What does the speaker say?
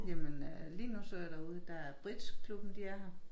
Jamen øh lige nu så jeg herude der er bridgeklubben de er her